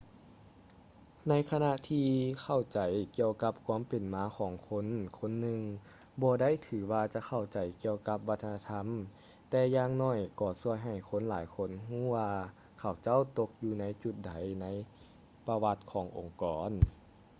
ໃນຂະນະທີ່ເຂົ້າໃຈກ່ຽວກັບຄວາມເປັນມາຂອງຄົນຄົນໜຶ່ງບໍ່ໄດ້ຖືວ່າຈະເຂົ້າໃຈກ່ຽວກັບວັດທະນະທຳ ແຕ່ຢ່າງໜ້ອຍກໍຊ່ວຍໃຫ້ຄົນຫຼາຍຄົນຮູ້ວ່າເຂົາເຈົ້າຕົກຢູ່ຈຸດໃດໃນປະຫວັດຂອງອົງກອນ